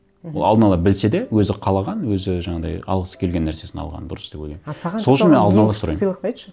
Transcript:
мхм ол алдын ала білсе де өзі қалаған өзі жаңағыдай алғысы келген нәрсесін алғаны дұрыс деп ойлаймын